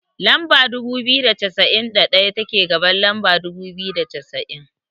Lamba dubu biyu da cassa'in da daya, take gaban lamba dubu biyu da cassa'in.